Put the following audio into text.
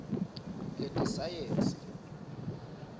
letesayensi